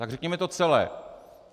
Tak řekněme to celé.